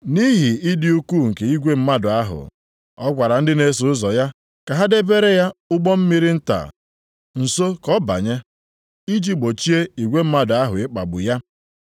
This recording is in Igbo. Nʼihi ịdị ukwuu nke igwe mmadụ ahụ, ọ gwara ndị na-eso ụzọ ya ka ha debere ya ụgbọ mmiri nta nso ka ọ banye, iji gbochie igwe mmadụ ahụ ịkpagbu ya.